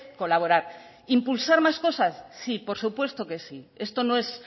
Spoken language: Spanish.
colaborar impulsar más cosas sí por supuesto que sí esto no es